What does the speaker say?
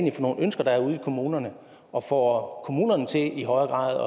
er for nogle ønsker der er ude i kommunerne og får kommunerne til i højere grad